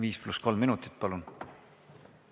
5 + 3 minutit, palun!